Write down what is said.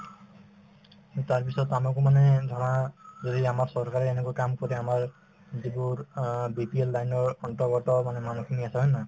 তাৰপিছত আমাকো মানে ধৰা যদি আমাক চৰকাৰে এনেকৈ কাম কৰি আমাৰ যিবোৰ অ BPL line ৰ অন্তৰ্গত মানে মানুহখিনি আছে হয় নে নহয়